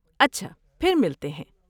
اچھا، پھر ملتے ہیں۔